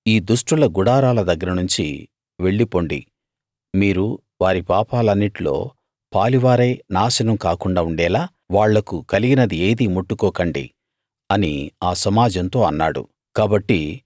అతడు ఈ దుష్టుల గుడారాల దగ్గర నుంచి వెళ్ళి పొండి మీరు వారి పాపాలన్నిట్లో పాలివారై నాశనం కాకుండా ఉండేలా వాళ్లకు కలిగినది ఏదీ ముట్టుకోకండి అని ఆ సమాజంతో అన్నాడు